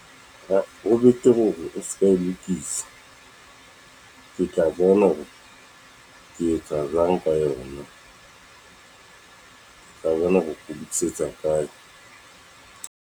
Ho betere hore o ska e lokisa, ke tla bona hore ke etsa jwang ka yona. . Ke tla bona hore ho lokisetsa kae.